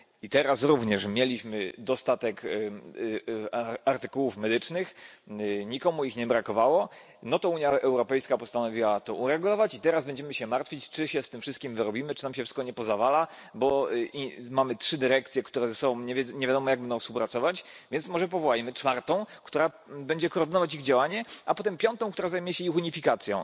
I teraz również, mieliśmy dostatek artykułów medycznych, nikomu ich nie brakowało, no to Unia Europejska postanowiła to uregulować i teraz będziemy się martwić, czy się z tym wszystkim wyrobimy, czy nam się wszystko nie pozawala, bo mamy trzy dyrekcje, które ze sobą nie wiadomo jak będą współpracować, więc może powołajmy czwartą, która będzie koordynować ich działanie, a potem piątą, która zajmie się ich unifikacją.